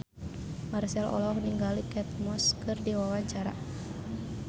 Marchell olohok ningali Kate Moss keur diwawancara